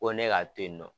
Ko ne ka to yen nɔ